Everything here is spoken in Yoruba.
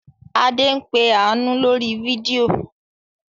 Adé ń pe Àánú lórí fídíò.